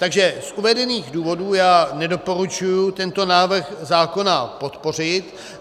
Takže z uvedených důvodů já nedoporučuji tento návrh zákona podpořit.